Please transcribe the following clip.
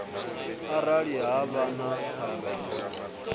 arali ha vha na phambano